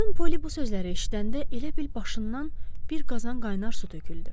Xanım Poli bu sözləri eşidəndə elə bil başından bir qazan qaynar su töküldü.